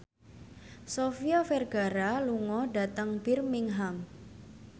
Sofia Vergara lunga dhateng Birmingham